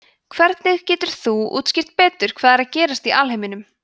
hvernig getur hún útskýrt betur hvað er að gerast í alheiminum